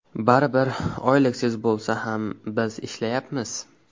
Baribir, oyliksiz bo‘lsa ham biz ishlayapmiz.